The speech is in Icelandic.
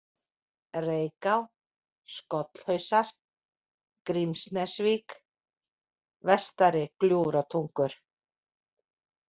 Reyká, Skollhausar, Grímsnesvík, Vestari-Gljúfratungur